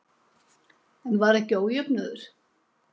En var ekki ójöfnuður?